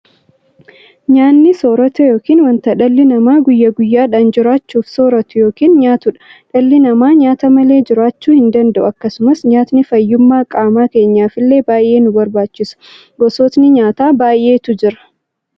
Nyaanni soorota yookiin wanta dhalli namaa guyyaa guyyaadhaan jiraachuuf sooratu yookiin nyaatuudha. Dhalli dhamaa nyaata malee jiraachuu hindanda'u. Akkasumas nyaatni fayyummaa qaamaa keenyafillee baay'ee nu barbaachisa. Gosootni nyaataa baay'eetu jira.